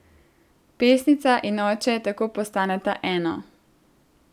Pesnica in oče tako postaneta eno.